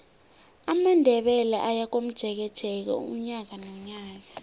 amandebele ayakomjekeje unyaka nonyaka